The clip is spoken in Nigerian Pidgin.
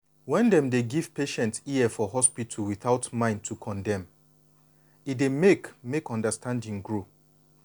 when dem dey give patient ear for hospital without mind to condemn e dey make make understanding grow.